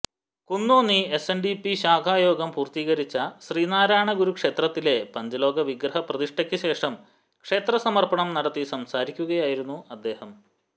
കുന്നോന്നി എസ്എന്ഡിപി ശാഖായോഗം പൂര്ത്തീകരിച്ച ശ്രീനാരായണഗുരുക്ഷേത്രത്തിലെ പഞ്ചലോഹവിഗ്രപ്രതിഷ്ഠയ്ക്ക് ശേഷം ക്ഷേത്രസമര്പ്പണം നടത്തി സംസാരിക്കുകയായിരുന്നു അദ്ദേഹം